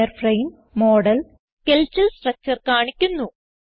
wireframe model skeletal structure കാണിക്കുന്നു